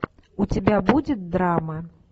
у тебя будет драма